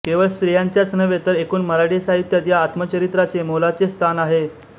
केवळ स्त्रियांच्याच नव्हे तर एकूण मराठी साहित्यात या आत्मचरित्राचे मोलाचे स्थान आहे